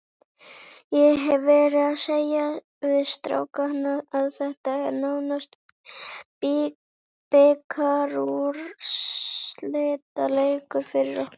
Ég hef verið að segja við strákana að þetta er nánast bikarúrslitaleikur fyrir okkur.